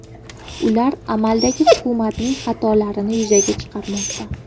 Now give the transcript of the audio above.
Ular amaldagi hukumatning xatolarini yuzaga chiqarmoqda.